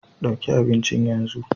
Ɗauki abincin yanzu